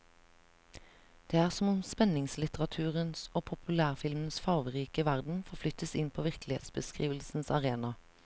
Det er som om spenningslitteraturens og populærfilmens fargerike verden forflyttes inn på virkelighetsbeskrivelsens arena.